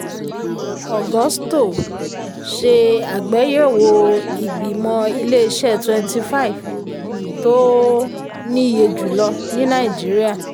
agusto um ṣe àgbéyẹ̀wò ìgbìmọ̀ ilé-iṣẹ́ twenty five tó um níye jùlọ ní nàìjíríà.